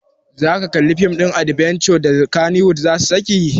Zaka kalli fim ɗin adbenture da kannywood zasu saki?